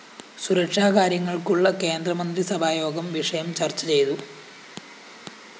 സുരക്ഷാ കാര്യങ്ങള്‍ക്കുള്ള കേന്ദ്രമന്ത്രിസഭായോഗം വിഷയം ചര്‍ച്ച ചെയ്തു